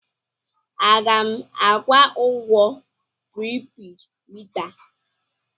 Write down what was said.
A ga m akwụ ụgwọ pripeed mita a?